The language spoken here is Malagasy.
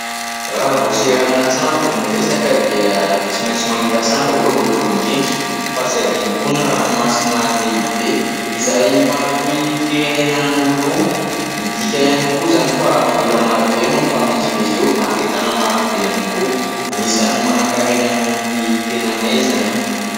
Raha vao seranan-tsambo no resaka dia tsy maintsy mahita sambo aloha voalohany indrindra fa tsy hadino koa ny ranomasina lehibe izay mampitohy firenena anankiroa. Midika ihany koa izany fa vola maro be no mifamezivezy eo ary entana maro be ihany koa. Anisan'ny manan-karena noho ny tenanay izany.